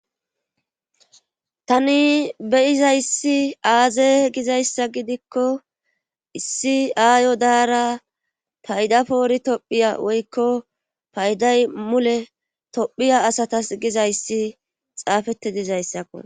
Tani beyizayssi aaze gizayssa gidikko issi aayo daara taydapoori tophiya woykko payday mule tophiya asatas gizayssi xaafette dizayssakko